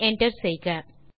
பின் enter செய்க